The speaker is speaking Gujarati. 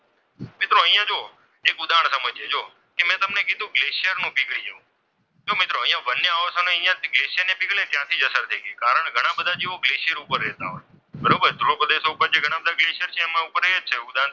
એક ઉદાહરણ સમજીએ જુઓ મેં તમને કીધુ ગ્લેસીયર નો પીગળી જવું. જો મિત્રો અહીંયા વન્ય આવાસો નહીં અહીંયા ગ્લેશિયર ની પીગલી ત્યાંથી જઅસર દેખી કારણ ઘણા બધા તેઓ ગ્લેસીયર ઉપર રહેતા હોય. બરોબર ધ્રુવ પ્રદેશો ઉપર ઘણા બધા ગ્લેસીયર છે એના ઉપર રહે છે ઉદાહરણ તરીકે,